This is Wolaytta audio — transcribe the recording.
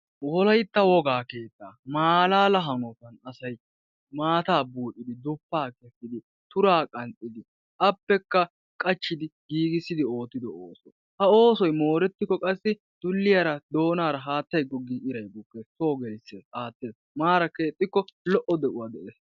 Wolaytta wogaa keetta malaala hanottan asay maata buuccidi duppa kessidi tura qanxxidi appekka qachchidi giigissidi oottido ooso, ha oosoy mooretikko qassi dulliyaa doonara haattay googin soo geles iray bukkees aattees. Maara keexxikko maara de'uwa de'ees.